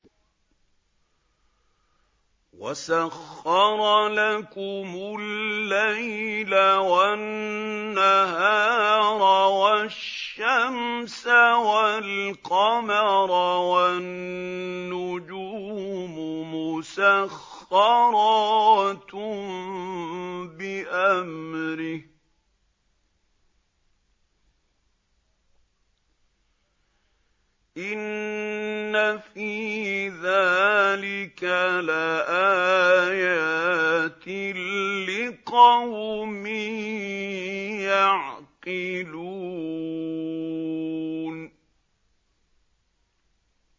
وَسَخَّرَ لَكُمُ اللَّيْلَ وَالنَّهَارَ وَالشَّمْسَ وَالْقَمَرَ ۖ وَالنُّجُومُ مُسَخَّرَاتٌ بِأَمْرِهِ ۗ إِنَّ فِي ذَٰلِكَ لَآيَاتٍ لِّقَوْمٍ يَعْقِلُونَ